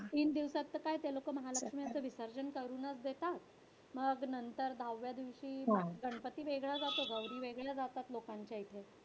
तीन दिवसात तर काय ते लोकं महालक्ष्मीचं विसर्जन करूनच देतात. मग नंतर दहाव्या दिवशी गणपती वेगळा जातो, गौरी वेगळ्या जातात लोकांच्या इथं.